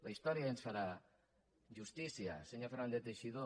la història ens farà justícia senyor fernández teixidó